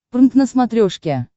прнк на смотрешке